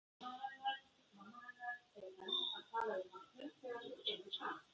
Mamma hennar er enn að tala við Hallmund þegar hún kemur fram.